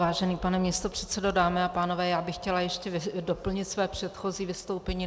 Vážený pane místopředsedo, dámy a pánové, já bych chtěla ještě doplnit své předchozí vystoupení.